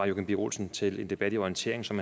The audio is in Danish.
joachim b olsen til en debat i orientering som